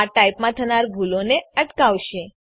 આ ટાઈપમાં થનાર ભૂલોને અટકાવશે